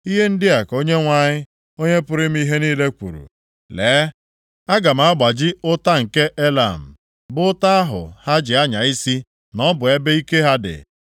Ihe ndị a ka Onyenwe anyị, Onye pụrụ ime ihe niile kwuru, “Lee, aga m agbaji ụta nke Elam, bụ ụta ahụ ha ji anya isi na ọ bụ ebe ike ha dị.